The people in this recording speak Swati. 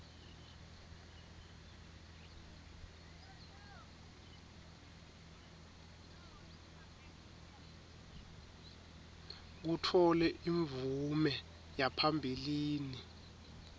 kutfole imvume yaphambilini